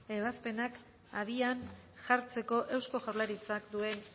ebazpenak abian jartzeko eusko jaurlaritzak duen